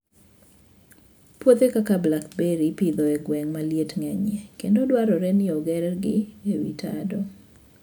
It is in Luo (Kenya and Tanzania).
Puothe kaka blackberry ipidho e gwenge ma liet ng'enyie kendo dwarore ni ogergi e wi tado.